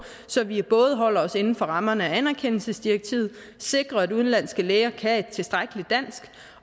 så vi både holder os inden for rammerne af anerkendelsesdirektivet og sikrer at udenlandske læger kan et tilstrækkeligt dansk